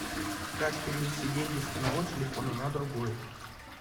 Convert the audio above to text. как перевести деньги с одного телефона на другой